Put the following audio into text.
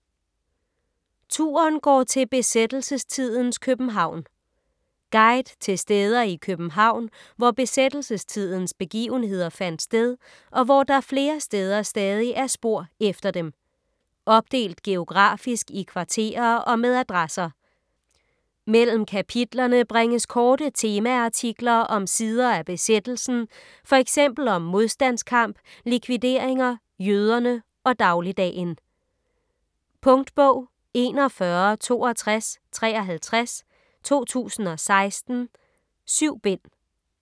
Turen går til besættelsestidens København Guide til steder i København, hvor besættelsestidens begivenheder fandt sted, og hvor der flere steder stadig er spor efter dem. Opdelt geografisk i kvarterer og med adresser. Mellem kapitlerne bringes korte temaartikler om sider af besættelsen, fx om modstandskamp, likvideringer, jøderne og dagligdagen. Punktbog 416253 2016. 7 bind.